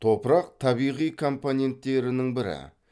топырақ табиғи компоненттерінің бірі